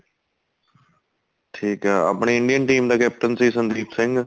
ਠੀਕ ਏ ਆਪਣੇ Indian team ਦਾ caption ਸੀ ਸੰਦੀਪ ਸਿੰਘ